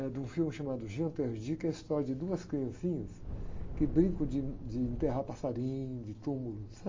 É de um filme chamado, que é a história de duas criancinhas que brincam de, de enterrar passarinho, de túmulo, certo?